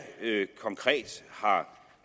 konkret har